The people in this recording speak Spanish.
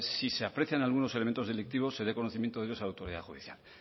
si se aprecian algunos elementos delictivos se dé conocimiento de ellos a la autoridad judicial